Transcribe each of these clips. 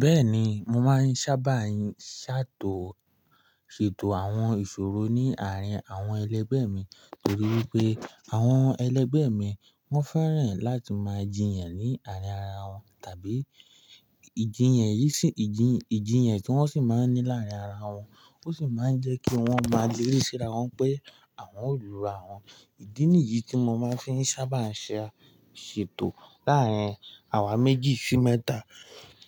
Bẹ́ẹ̀ni, mo máa ń sábà ń ṣètò àwọn ìṣòro ní àárín àwọn ẹlẹgbẹ́ mi torí wípé àwọn ẹlẹgbẹ́ mi wọ́n fẹ́ràn láti máa jiyàn ní àárín ara wọn tàbí ìjìyàn yí sì-- ìjìyàn tí wọ́n sì máa ń ní láàárín ara wọn, ó sì máa ń jẹ́ kí wọ́n máa léri wípé àwọn olùrà won. Ìdí nìyí tí mo máa ń fi sábà ń ṣe àṣètò láàárín àwa méjì sí mẹ́ta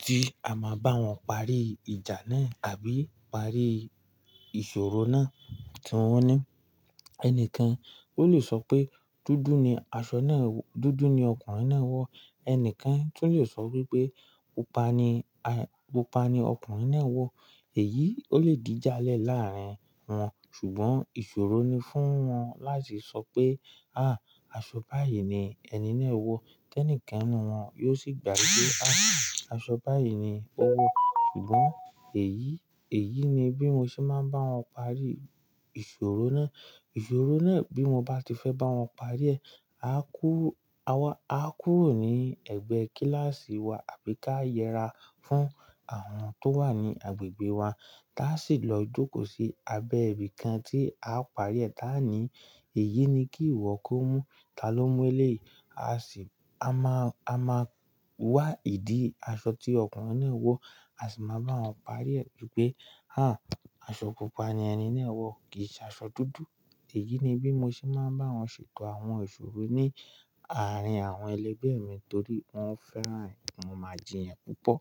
tí a máa bá wọn parí ìjà náà àbí parí ìṣòro náà tí wọ́n ní. Ẹnikan ó lè sọ pé dúdú ni aṣọ náà-- dúdú ni ọkùnrin náà wọ̀, ẹnìkan tó lè sọ wípé pupa ni, pupa ni ọkùnrin náà wọ̀. Èyí ó lè dí jalè láàárín wọn, ṣùgbọ́n ìṣòro ni fún wọn láti sọ pé, "à, aṣọ báyìí ni ẹni náà wọ̀." Kí ẹnikan nínú wọn yóò sì gbàgbé wípé, "à, aṣọ báyìí ni ó wọ̀." Ṣùgbọ́n èyí, èyí ni bí mo ṣe máa ń bá wọn parí ìṣòro náà. Ìṣòro náà bí mo bá ti fẹ́ bá wọn parí ẹ̀, a kúrò ní ẹ̀gbẹ́ kíláàsì wa àbí ká yẹra fún àwọn tó wà ní agbègbè wa tí a sì lọ jókòó sí abẹ́ ibìkan tí a parí ẹ̀ tá a ní, "èyí ni kí ìwọ kó mú, ta ló mú e lé?" A sì máa, a máa wá ìdí aṣọ tí ọkùnrin náà wọ̀, a sì máa bá wọn parí ẹ̀ wípé, "à, aṣọ pupa ni ẹni náà wọ̀ kì í ṣe aṣọ dúdú." Èyí ni bí mo ṣe máa ń bá wọn ṣètò àwọn ìṣòro ní àárín àwọn ẹlẹgbẹ́ mi torí wọ́n fẹ́ràn ìmaijiyàn púpọ̀.